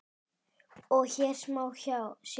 og hér má sjá